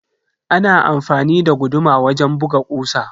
Ana amfani da guduma wajen buga kusa.